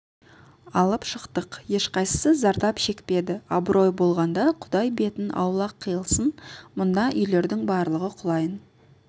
алып шықтық ешқайсысы зардап шекпеді абырой болғанда құдай бетін аулақ қылсын мына үйлердің барлығы құлайын